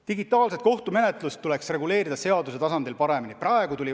Digitaalset kohtumenetlust tuleks seaduse tasandil paremini reguleerida.